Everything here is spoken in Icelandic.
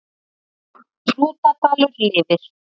Hrútadalur lifir